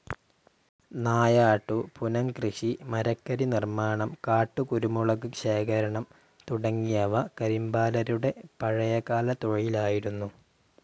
നായാട്ടു, പുനംകൃഷി, മരക്കരിനിർമാണം, കാട്ടുകുരുമുളക് ശേഖരണം തുടങ്ങിയവ കരിമ്പാലരുടെ പഴയകാല തൊഴിലായിരുന്നു.